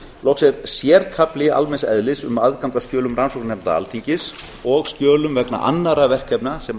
loks er sérkafli almenns eðlis um aðgang að skjölum rannsóknarnefnda alþingis og skjölum vegna annarra verkefna sem